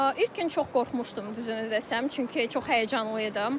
İlk gün çox qorxmuşdum düzünü desəm, çünki çox həyəcanlı idim.